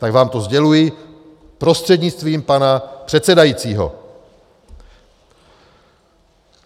Tak vám to sděluji prostřednictvím pana předsedajícího.